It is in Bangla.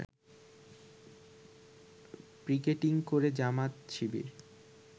পিকেটিং করে জামায়াত শিবির